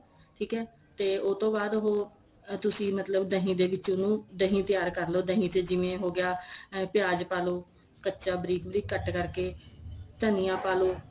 ਠੀਕ ਏ ਤੇ ਉਹਤੋਂ ਬਾਅਦ ਉਹ ਤੁਸੀਂ ਮਤਲਬ ਦਹੀ ਦੇ ਵਿੱਚ ਉਹਨੂੰ ਦਹੀ ਤਿਆਰ ਕਰ ਲੋ ਦਹੀ ਤੇ ਜਿਵੇਂ ਹੋਗਿਆ ਪਿਆਜ ਪਾ ਲੋ ਕੱਚਾ ਬਰੀਕ ਬਰੀਕ ਕੱਟ ਕਰਕੇ ਧਨੀਆ ਪਾ ਲੋ